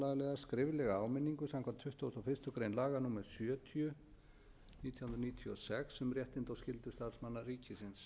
skriflega áminningu samkvæmt tuttugustu og fyrstu grein laga númer sjötíu nítján hundruð níutíu og sex um réttindi og skyldur starfsmanna ríkisins